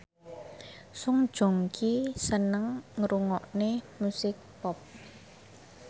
Song Joong Ki seneng ngrungokne musik pop